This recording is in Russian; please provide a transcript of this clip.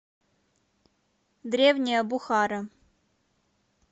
древняя бухара